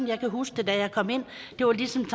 jeg kan huske da jeg kom ind det var ligesom